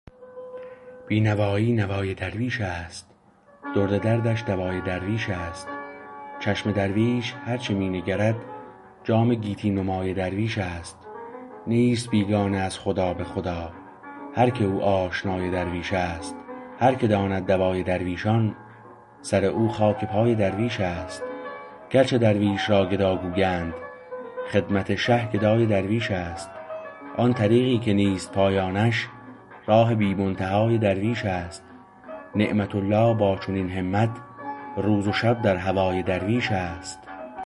بی نوایی نوای درویش است درد دردش دوای درویش است چشم درویش هر چه می نگرد جام گیتی نمای درویش است نیست بیگانه از خدا به خدا هرکه او آشنای درویش است هرکه داند دوای درویشان سر او خاک پای درویش است گرچه درویش را گدا گویند خدمت شه گدای درویش است آن طریقی که نیست پایانش راه بی منتهای درویش است نعمت الله با چنین همت روز و شب در هوای درویش است